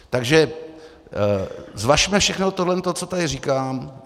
Takže zvažme všechno to, co tady říkám.